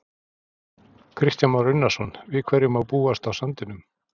Kristján Már Unnarsson: Við hverju má búast á sandinum?